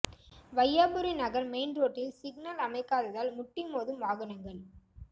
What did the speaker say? Vaiyapuri Nagar main ரோட்டில் signal அமைக்காததால் முட்டி மோதும் வாகனங்கள்